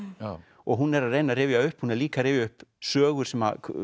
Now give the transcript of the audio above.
og hún er að reyna að rifja upp hún er líka að rifja upp sögur sem